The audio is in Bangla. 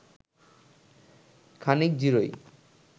খানিক জিরোই